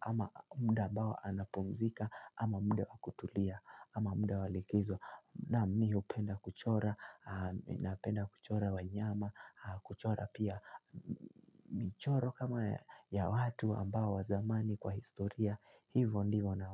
ama muda ambao anapumzika ama muda wa kutulia ama muda walikizo Naam mi hupenda kuchora napenda kuchora wanyama kuchora pia michoro kama ya watu ambao wa zamani kwa historia Hivo ndivo na.